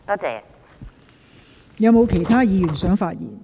是否有其他議員想發言？